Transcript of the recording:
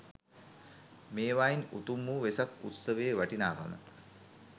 මේවායින් උතුම් වූ වෙසක් උත්සවයේ වටිනාකම